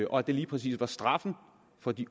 og at det lige præcis var straffen for de